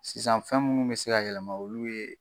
Sisan fɛn munnu be se ka yɛlɛma , olu ye